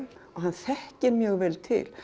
og hann þekkir mjög vel til